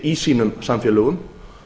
í sínum samfélögum